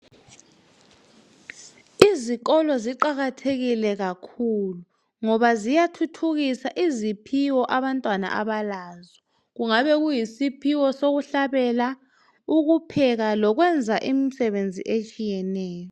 Izikolo ziqakathekile kakhulu ngoba ziyathuthukisa iziphiwo abantwana abalazo, kungabe kuyisiphiwo sokuhlabela, ukupheka lokwenza imisebenzi etshiyeneyo